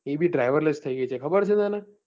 એ બી driver less થઈ ગઈ છે ખબર છે તને?